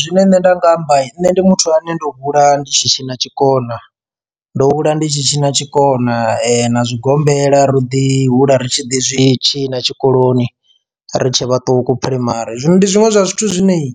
Zwine nṋe nda nga amba nne ndi muthu ane ndo hula ndi tshi tshina tshikona ndo hula ndi tshi tshi na tshikona na zwigombela ro ḓi hula ri tshi ḓi zwitshina tshikoloni ri tshe vhaṱuku phuraimari, zwino ndi zwiṅwe zwa zwithu zwine iyi